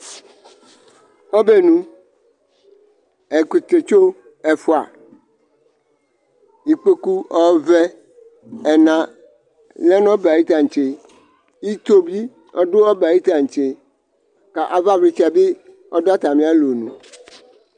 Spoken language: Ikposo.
Ɔbɛnu, ɛkʋtɛtso ɛfʋa, ikpoku ɔvɛ ɛna lɛ nʋ ɔbɛ ayʋ tantse, ito bɩ ɔdʋ ɔbɛ ayʋ tantse, kʋ avavlɩtsɛ bɩ ɔdʋ atamɩ alonu